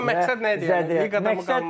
Amma məqsəd nə idi, liqada mı qalmaq?